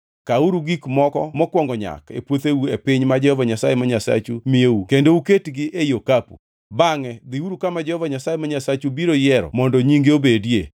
kawuru gik moko mokwongo nyak e puotheu e piny ma Jehova Nyasaye ma Nyasachu miyou kendo oketgi ei okapu. Bangʼe dhiuru kama Jehova Nyasaye ma Nyasachu biro yiero mondo nyinge obedie